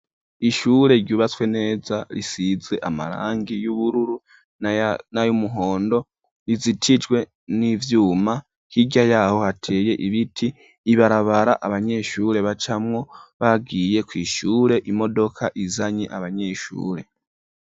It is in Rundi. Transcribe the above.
Ishure ryubatswe neza risizwe amarangi y'ubururu nayandi yumuhondo rizitijwe n'ivyuma hirya yaho hateye ibiti ibarabara abanyeshure bacamwo bagiye kwishure. Imodoka izanye abanyeshure.